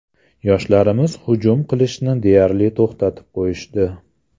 Yoshlarimiz hujum qilishni deyarli to‘xtatib qo‘yishdi.